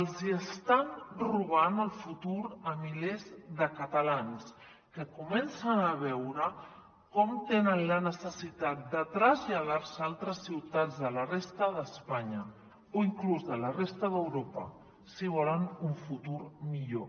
els hi estan robant el futur a milers de catalans que comencen a veure com tenen la necessitat de traslladar se a altres ciutats de la resta d’espanya o inclús de la resta d’europa si volen un futur millor